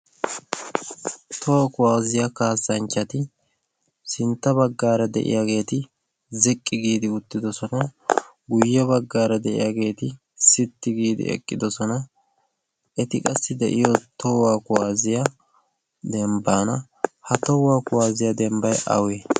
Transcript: towaa kuwaaziyaa kaassanchchati sintta baggaara de7iyaageeti ziqqi giidi uttidosona. guyye baggaara de7iyaageeti sitti giidi eqqidosona. eti qassi de7iyo touwaa kuwaaziyaa dembbaana ha tohuwaa kuwaaziyaa dembbai awe?